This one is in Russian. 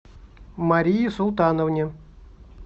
марии султановне